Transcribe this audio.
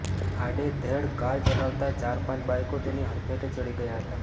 આડેધડ કાર ચલાવતા ચાર પાંચ બાઇકો તેની હડફેટે ચડી ગયા હતા